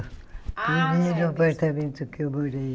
Ah Primeiro apartamento que eu morei.